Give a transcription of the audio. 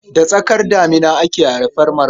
Da tsakar damina ake haifar Marka.